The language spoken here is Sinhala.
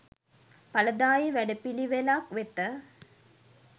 ඵලදායී වැඩපිළිවෙළක් වෙත